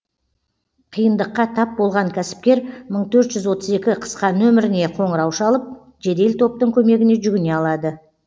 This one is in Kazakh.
қиындыққа тап болған кәсіпкер мың төрт жүз отыз екі қысқа нөміріне қоңырау шалып жедел топтың көмегіне жүгіне алады